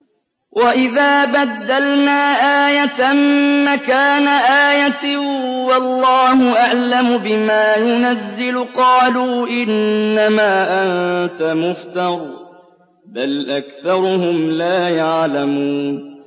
وَإِذَا بَدَّلْنَا آيَةً مَّكَانَ آيَةٍ ۙ وَاللَّهُ أَعْلَمُ بِمَا يُنَزِّلُ قَالُوا إِنَّمَا أَنتَ مُفْتَرٍ ۚ بَلْ أَكْثَرُهُمْ لَا يَعْلَمُونَ